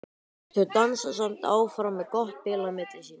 Þau dansa samt áfram með gott bil á milli sín.